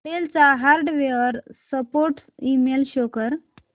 del चा hardware support email show कर